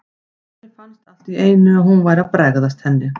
Henni fannst allt í einu að hún væri að bregðast henni.